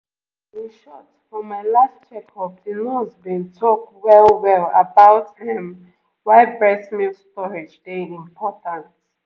ehm in short for my last checkup the nurse been talk well-well about um why breast milk storage dey important